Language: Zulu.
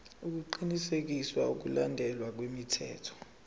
ukuqinisekisa ukulandelwa kwemithetho